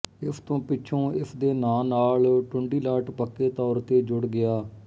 ਇਸ ਤੋਂ ਪਿੱਛੋਂ ਇਸ ਦੇ ਨਾਂਅ ਦੇ ਨਾਲ ਟੁੰਡੀਲਾਟ ਪੱਕੇ ਤੌਰ ਤੇ ਜੁੜ ਗਿਆ